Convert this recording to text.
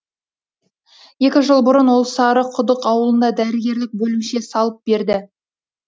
екі жыл бұрын ол сарықұдық ауылында дәрігерлік бөлімше салып берді